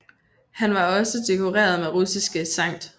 Han var også dekoreret med Russiske Skt